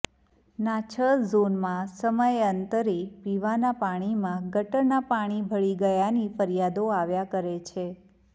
નાં છ ઝોનમાં સમયાંતરે પીવાનાં પાણીમાં ગટરનાં પાણી ભળી ગયાંની ફરિયાદો આવ્યાં કરે છે